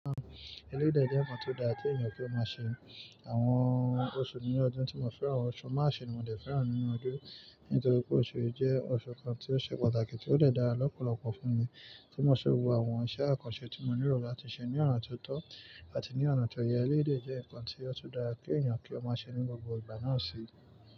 Elé dẹ̀ jẹ́ ǹkan tó dára tí ènìyàn kí ó máa ṣe. Àwọn oṣù ní ọdún tí mo fẹ́ran oṣù March ni mo fẹ́ràn nínú ọdún, nítorí pé oṣù yìí jẹ́ oṣù kan tí ó ṣe pàtàkì tí ó dàda lọ́pọ̀lọpọ̀ fún mi. Tí mo ṣe wo àwọn iṣẹ́ àkànṣe tí mo ní ìrò láti ṣe ní ọ̀nà tó tọ́ àti ní ọ̀nà tó yẹ, elé dẹ̀ jẹ́ ǹkan tí ó tó dára kí ènìyàn kí ó máa ṣe ní gbogbo ìgbà náà ṣi.